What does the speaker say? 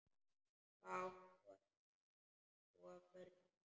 Hvað átt þú af börnum?